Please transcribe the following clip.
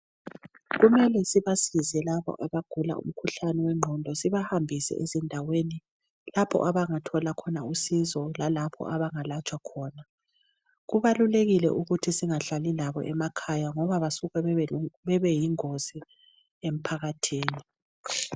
Kumele sibasize labo abagula umkhuhlane wengqondo sibahambise ezindaweni lapho abangathola khona usizo lalapho abangalatshwa khona. Kubalulekile ukuthi singahlali labo emakhaya ngoba basuka bebe yingozi emphakathini.